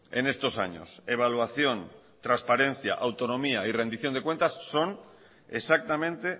en estos años evaluación transparencia autonomía y rendición de cuentas son exactamente